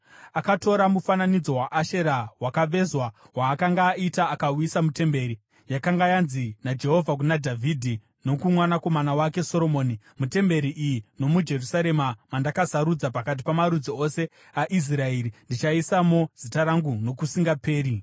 Akatora mufananidzo waAshera wakavezwa waakanga aita akauisa mutemberi, yakanga yanzi naJehovha kuna Dhavhidhi nokumwanakomana wake Soromoni, “Mutemberi iyi nomuJerusarema, mandakasarudza pakati pamarudzi ose aIsraeri, ndichaisamo Zita rangu nokusingaperi.